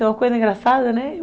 É uma coisa engraçada, né?